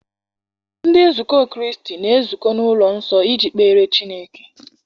Ndị nzukọ Kraịst na-ezukọ n'ụlọ nsọ iji kpere Chineke.